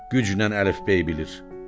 Güclə əlifbey bilir.